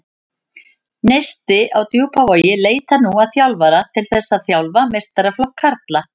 Neisti á Djúpavogi leitar nú að þjálfara til þess að þjálfa meistaraflokk karla.